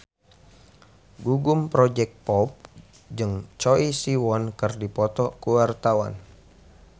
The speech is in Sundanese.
Gugum Project Pop jeung Choi Siwon keur dipoto ku wartawan